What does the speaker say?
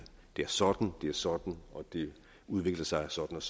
det er sådan og sådan og det udvikler sig sådan og